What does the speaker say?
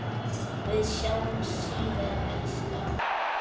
Við sjáumst síðar, elskan.